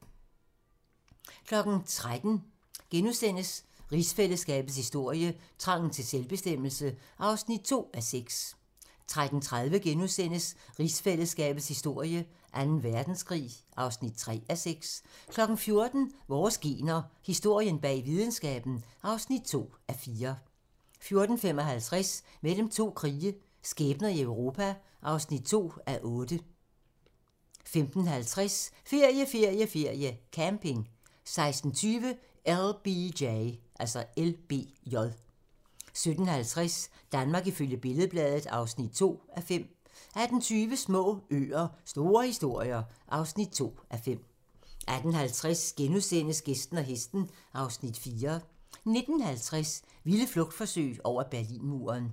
13:00: Rigsfællesskabets historie: Trangen til selvbestemmelse (2:6)* 13:30: Rigsfællesskabets historie: Anden Verdenskrig (3:6)* 14:00: Vores gener - historien bag videnskaben (2:4) 14:55: Mellem to krige - skæbner i Europa (2:8) 15:50: Ferie, ferie, ferie: Camping 16:20: LBJ 17:50: Danmark ifølge Billed-Bladet (2:5) 18:20: Små øer - store historier (2:5) 18:50: Gæsten og hesten (Afs. 4)* 19:50: Vilde flugtforsøg over Berlinmuren